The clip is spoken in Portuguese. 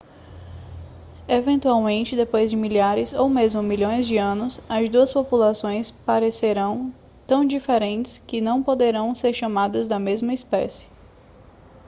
eventualmente depois de milhares ou mesmo milhões de anos as duas populações parecerão tão diferentes que não poderão ser chamadas da mesma espécie